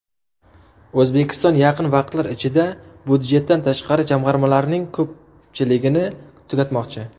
O‘zbekiston yaqin vaqtlar ichida budjetdan tashqari jamg‘armalarning ko‘pchiligini tugatmoqchi.